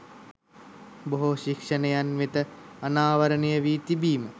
බොහෝ ශික්ෂණයන් වෙත අනාවරණය වී තිබීම